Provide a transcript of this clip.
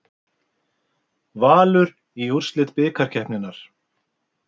Valur í úrslit bikarkeppninnar